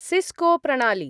Cisco प्रणाली।